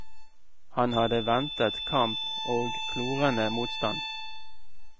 Han hadde ventet kamp og klorende motstand.